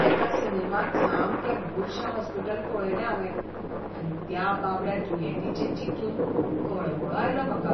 एका सिनेमांत सामकें बुरशें हॉस्पिटल पळयलें हांवें आनी त्या बाबड्या दुयेंतींचें चिंतून कळवळो आयलो म्हाका.